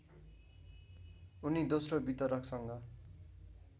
उनी दोस्रो वितरकसँग